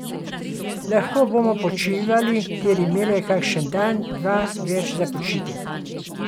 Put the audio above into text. Lahko bomo počivali ter imeli kakšen dan, dva več za počitek.